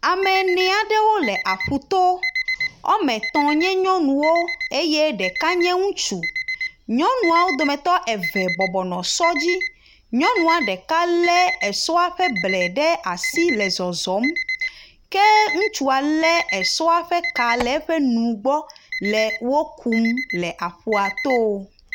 Ame ene aɖewo le aƒuto woame etɔ̃ nye nyɔnuwo eye ɖeka nye ŋutsu. Nyɔnua wo dometɔ eve bɔbɔ nɔ sɔ dzi, nyɔnua ɖeka lé esɔa ƒe ble ɖe asi le zɔzɔm ke ŋutsua é esɔa ƒe ka le eƒe nu gbɔ le wo kum le aƒua to.